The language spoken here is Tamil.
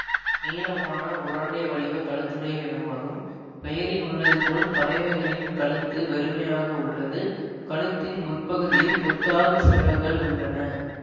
நீளமான உருண்டை வடிவ கழுத்துடைய இனமாகும் பெயரில் உள்ளது போல் பறவைகளின் கழுத்து வெறுமையாக அல்லது கழுத்தின் முற்பகுதியில் கொத்தாக சிறகுகள் உள்ளன